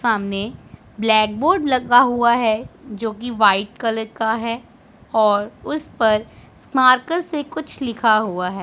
सामने black board लगा हुआ है जो की व्हाइट कलर का है और उस पर स्मारकर से कुछ लिखा हुआ है।